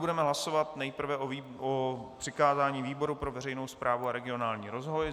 Budeme hlasovat nejprve o přikázání výboru pro veřejnou správu a regionální rozvoj.